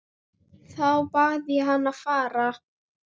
Þá bað ég hann að fara.